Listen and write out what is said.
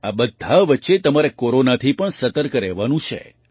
આ બધા વચ્ચે તમારે કોરોનાથી પણ સતર્ક રહેવાનું છે